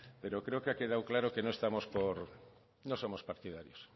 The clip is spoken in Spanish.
pero creo que ha quedado claro que no somos partidarios